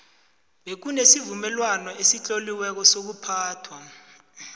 bekunesivumelwano esitloliweko sokuphathwa